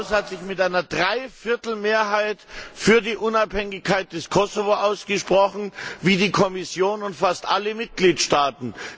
Dieses Haus hat sich mit einer Dreiviertelmehrheit für die Unabhängigkeit des Kosovo ausgesprochen, wie die Kommission und fast alle Mitgliedstaaten.